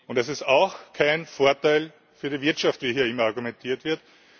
Es ist auch kein Vorteil für die Wirtschaft, wie hier immer argumentiert wird.